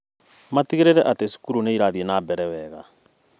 Matigĩrĩre atĩ cukuru nĩĩrathiĩ na mbere wega